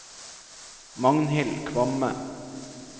Magnhild Kvamme